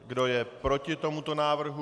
Kdo je proti tomuto návrhu?